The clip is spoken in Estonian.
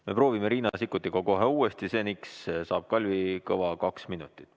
Me proovime Riina Sikkutiga kohe uuesti, seniks saab Kalvi Kõva kaks minutit.